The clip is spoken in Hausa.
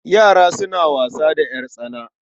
Yara suna wasa da ƴartsana.